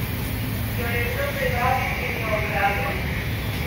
Jo je kdo privabil in jo ugrabil?